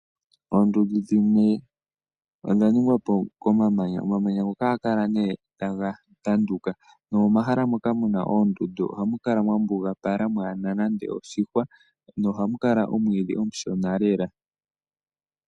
Oondundu dhimwe odha ningwa po komamanya. Omamanya ngono ohaga kala nee taga tanduka, nomomahala mono muna oondundu ohamu kala mwa mbugapala mwaana nande oshihwa no ohamu kala omwiidhi omushona lela .